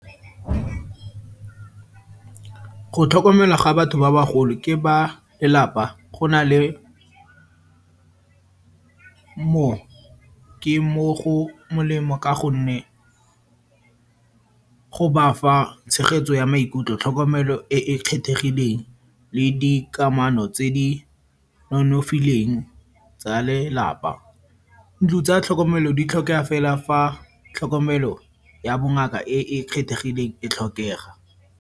Go tlhokomelwa ga batho ba bagolo ke ba lelapa, go na le mo ke mo go molemo ka gonne go ba fa tshegetso ya maikutlo, tlhokomelo e e kgethegileng le di kamano tse di nonofileng tsa lelapa. Ntlo tsa tlhokomelo di tlhokega fela fa tlhokomelo ya bongaka e e kgethegileng e tlhokega.